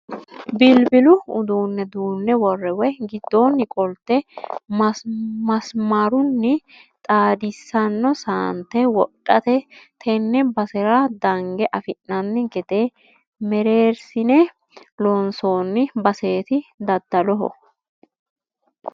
Bilbilu uduune duune worre woyi giddoni qolte masimarunni xaadisano saante wodhate tene basera dange affi'nanni gede mereersine loonsonni baseti daddaloho.